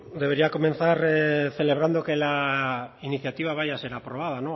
debería comenzar celebrando que la iniciativa vaya a ser aprobada